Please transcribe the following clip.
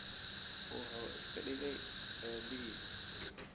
Wuxuu iska dhigay aabbihiis